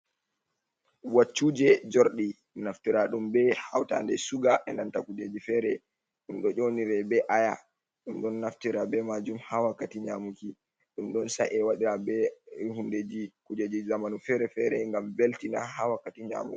Waccuje jordi naftira ɗum ɓe hautande suga e nanta kujeji fere ɗun ɗo jonire be aya ɗum ɗon naftira be majum ha wakkati nyamuki ɗum ɗon sa’e waɗira be hundeji kujeji zamanu fere-fere gam belti na ha wakkati nyamuki.